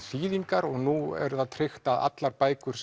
þýðingar og nú er það tryggt að allar bækur